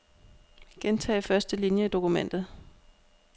Gentag første linie i dokumentet.